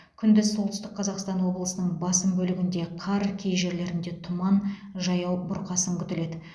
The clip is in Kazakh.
күндіз солтүстік қазақстан облысының басым бөлігінде қар кей жерлерінде тұман жаяу бұрқасын күтіледі